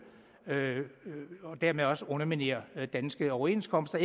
og dermed også underminerer danske overenskomster